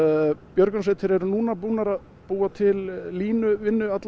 björgunarsveitir eru núna búnar að búa til línu